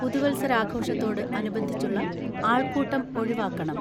പുതുവത്സരാഘോഷത്തോട് അനുബന്ധിച്ചുള്ള ആൾക്കൂട്ടം ഒഴിവാക്കണം.